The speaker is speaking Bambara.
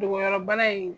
Dogoyɔrɔbana in